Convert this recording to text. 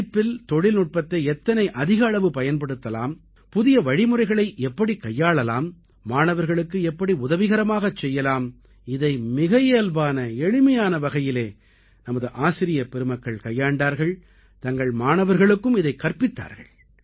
படிப்பில் தொழில்நுட்பத்தை எத்தனை அதிக அளவு பயன்படுத்தலாம் புதிய வழிமுறைகளை எப்படிக் கையாளலாம் மாணவர்களுக்கு எப்படி உதவிகரமாக செய்யலாம் இதை மிக இயல்பான எளிமையான வகையிலே நமது ஆசிரியப் பெருமக்கள் கையாண்டார்கள் தங்கள் மாணவர்களுக்கும் இதைக் கற்பித்தார்கள்